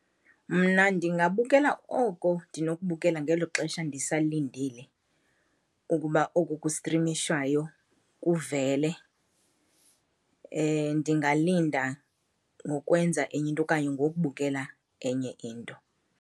Mna ndingabukela oko ndinokubukela ngelo xesha ndisalindile ukuba oku kustrimishwayo kuvele. Ndingalinda ngokwenza enye into okanye ngokubukela enye into.